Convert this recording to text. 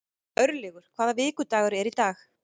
Örlygur, hvaða vikudagur er í dag?